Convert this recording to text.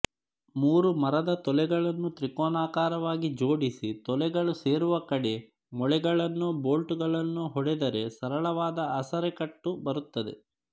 ಮೂರು ಮರದ ತೊಲೆಗಳನ್ನು ತ್ರಿಕೋನಾಕಾರವಾಗಿ ಜೋಡಿಸಿ ತೊಲೆಗಳು ಸೇರುವ ಕಡೆ ಮೊಳೆಗಳನ್ನೋ ಬೋಲ್ಟುಗಳನ್ನೂೀ ಹೊಡೆದರೆ ಸರಳವಾದ ಆಸರೆಕಟ್ಟು ಬರುತ್ತದೆ